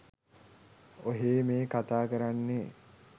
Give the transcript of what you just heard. ඔහේ මේ කතා කරන්නෙ